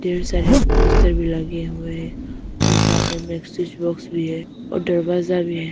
यहां सारे पोस्टर भी लगे हुए है और साथ में मेडिसिन बॉक्स भी है और दरवाजा भी है।